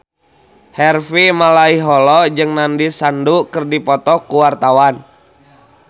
Harvey Malaiholo jeung Nandish Sandhu keur dipoto ku wartawan